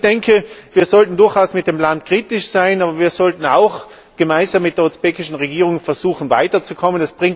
Ich denke, wir sollten durchaus mit dem Land kritisch sein, aber wir sollten auch gemeinsam mit der usbekischen Regierung versuchen weiterzukommen.